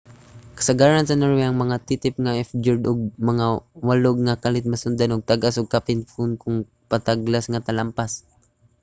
kasagaran sa norway ang mga titip nga fjord ug mga walog nga kalit masundan og tag-as ug kapin kon kulang patag nga talampas